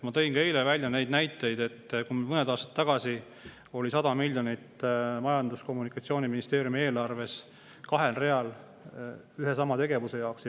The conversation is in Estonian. Ma eile tõin näite, et mõned aastad tagasi oli Majandus- ja Kommunikatsiooniministeeriumi eelarves kahel real 100 miljonit ühe ja sama tegevuse jaoks.